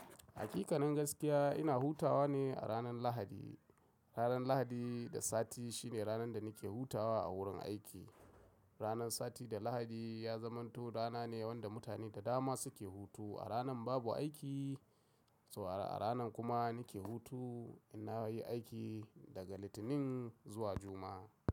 Hakikanin gaskiya ina hutawa ne a ranar Lahadi. Ranar Lahadi da Sati shine ranar da nake hutawa a wurin aiki. Ranar Sati da Lahadi ya zamanto rana ne wanda mutane da dama suke hutu. A ranan babu aiki, a ranan kuma nake hutu. Inna yi aiki daga Litinin zuwa Juma'a.